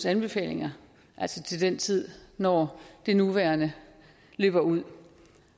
anbefalinger altså til den tid når det nuværende løber ud